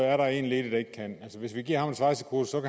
er der én ledig der ikke kan hvis vi giver ham et svejsekursus